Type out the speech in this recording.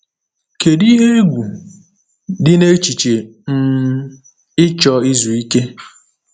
Kedu ihe egwu dị n’echiche um ịchọ izu ike?